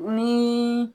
Ni